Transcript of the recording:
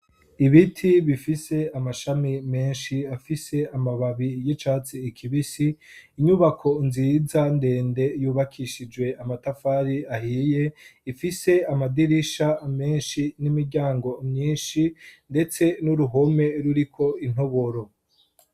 Ibiti bifise amashami menshi afise amababi y'icatsi ikibisi, inyubako nziza ndende yubakishijwe amatafari ahiye, ifise amadirisha menshi n'imiryango myinshi, ndetse n'uruhome ruriko intoboro.